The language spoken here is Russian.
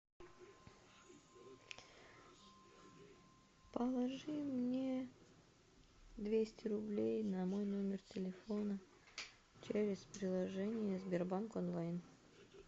положи мне двести рублей на мой номер телефона через приложение сбербанк онлайн